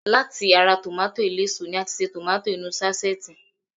Láti ara tòmátósì eléso ni a ti ṣe tòmátósì inú ú sáṣẹ́ẹ̀tì